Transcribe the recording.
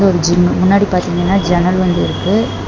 இதொரு gym முன்னாடி பாத்தீங்கனா ஜன்னல் வந்திருக்கு.